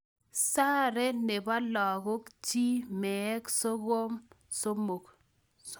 Sare nebo lagok, chi meek sogom somok.